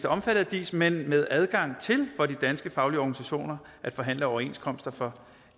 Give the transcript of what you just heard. omfattet af dis men med adgang til for de danske faglige organisationer at forhandle overenskomster for